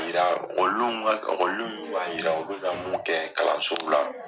Yira okɔlidenw min b'a yira u bɛ ka mun kɛ kalansow la